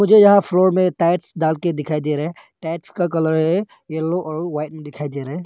ये यहां फ्लोर में टाइल्स डाल के दिखाई दे रहा है टाइल्स का कलर है येलो और व्हाइट दिखाई दे रहा है।